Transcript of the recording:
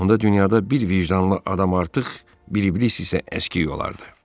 Onda dünyada bir vicdanlı adam artıq, bir iblis isə əskik olardı.